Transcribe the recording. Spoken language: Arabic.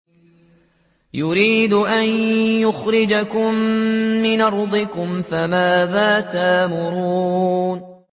يُرِيدُ أَن يُخْرِجَكُم مِّنْ أَرْضِكُمْ ۖ فَمَاذَا تَأْمُرُونَ